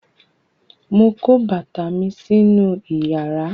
mọ kó bàtà mí sí inú iyàrá